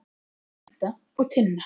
Edda og Tinna.